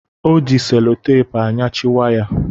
Ọ ji selotapu anyachị waya